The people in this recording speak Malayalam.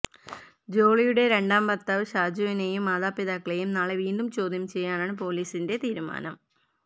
ജോളിയുടെ രണ്ടാം ഭർത്താന് ഷാജുവിനെയും മാതാപിതാക്കളെയും നാളെ വീണ്ടും ചോദ്യം ചെയ്യാനാണ് പൊലീസിന്റെ തീരുമാനം